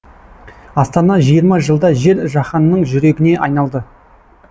астана жиырма жылда жер жаһанның жүрегіне айналды